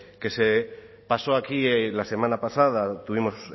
que se pasó aquí la semana pasada tuvimos